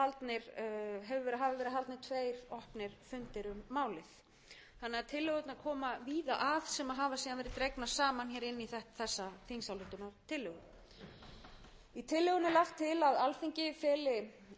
dregnar saman hér inn í þessa þingsályktunartillögu í tillögunni er lagt til að alþingi feli iðnaðarráðherra að vinna að því að minnka hlut jarðefnaeldsneytis